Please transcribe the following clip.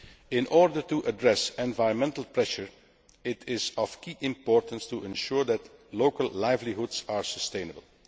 In order to address environmental pressure, it is of key importance to ensure that local livelihoods are sustainable.